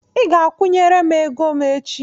I ga-akwụnyere m ego m echi!